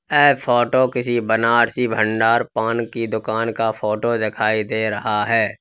ऐ photo किसी बनारसी भंडार पान कि दुकान का फोटो दिखाई दे रहा है।